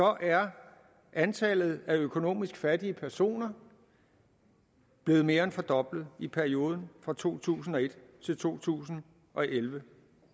er antallet af økonomisk fattige personer blevet mere end fordoblet i perioden fra to tusind og et til to tusind og elleve